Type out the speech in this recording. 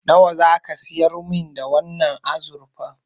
Nawa zaka siyar min da wannan azurfar?